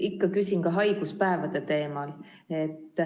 Ikka küsin ka haiguspäevade teemal.